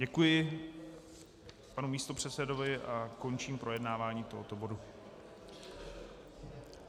Děkuji panu místopředsedovi a končím projednávání tohoto bodu.